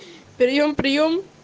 приём приём